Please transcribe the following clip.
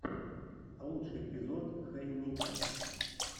лучший эпизод хей нико